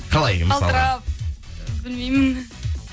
қалай мысалы білмеймін